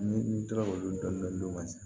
Ni n tora k'olu dɔn n'o ma se